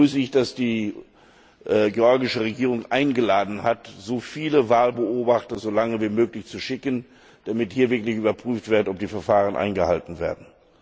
Deswegen begrüße ich, dass die georgische Regierung dazu eingeladen hat, so viele Wahlbeobachter so lange wie möglich zu schicken, damit hier wirklich überprüft wird, ob die Verfahren eingehalten werden.